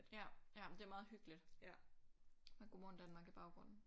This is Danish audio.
Ja ja det er meget hyggeligt med Godmorgen Danmark i baggrunden